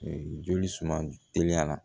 Joli suma teliya la